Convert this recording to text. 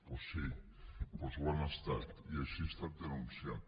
doncs sí ho han estat i així ha estat denunciat